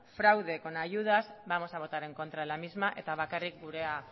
fraude con ayudas vamos a votar en contra de la misma eta bakarrik gurea